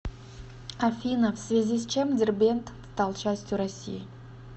афина в связи с чем дербент стал частью россии